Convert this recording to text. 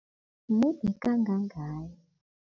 Mude kangangani?